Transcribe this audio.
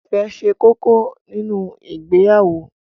Ìfẹ́ ṣe kókó nínu ìgbéyàwó.